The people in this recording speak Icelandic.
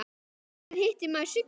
Hvenær hitti maður Sigga fyrst?